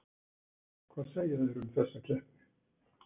Hvað segja þeir um þessa keppni?